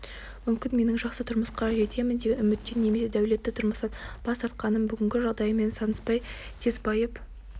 мүмкін менің жақсы тұрмысқа жетемін деген үміттен немесе дәулетті тұрмыстан бас тартқаным бүгінгі жағдайыммен санаспай тез байып